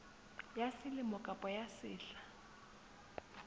ya selemo kapa ya sehla